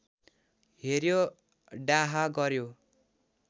हेर्‍यो डाहा गर्‍यो